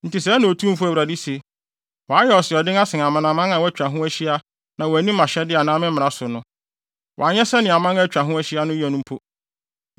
“Enti sɛɛ na Otumfo Awurade se: Woayɛ asoɔden asen amanaman a wɔatwa wo ho ahyia na woanni mʼahyɛde anaa me mmara so no. Woanyɛ sɛnea aman a atwa wo ho ahyia no yɛ mpo.